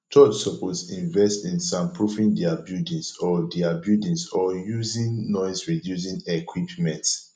church suppose invest in soundproofing dia buildings or dia buildings or using noisereducing equipment